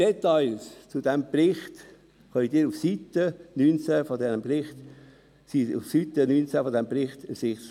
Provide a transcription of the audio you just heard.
Details zu diesem Bericht sind auf Seite 19 dieses Berichts ersichtlich.